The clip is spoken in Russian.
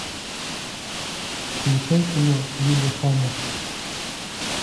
включай кино лиллехаммер